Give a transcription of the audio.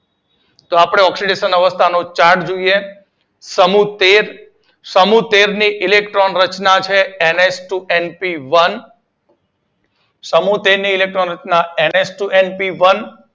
તો આપડે ઓક્સીડેશન અવસ્થા નો ચાર્ટ જોઈએ. સમૂહ તેર સમૂહ તેર ની ઇલેક્ટ્રોન રચના છે એનએચટુએનપીવન સમૂહ તેર સમૂહ તેર ની ઇલેક્ટ્રોન રચના એનએચટુએનપીવન